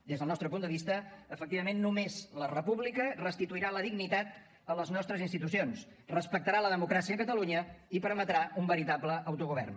des del nostre punt de vista efectivament només la república restituirà la dignitat a les nostres institucions respectarà la democràcia a catalunya i permetrà un veritable autogovern